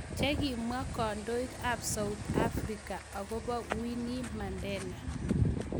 Chegimwa kondoig ap south africa agopo winnie mandela